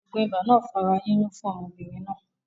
Ògùn ibà náà fa ara yíyún fún ọmọbìnrin náà